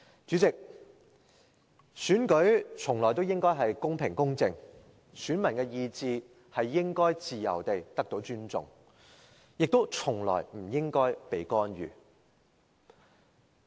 主席，選舉從來都應該是公平、公正，選民的意志應該得到尊重，亦從來不應該被干預。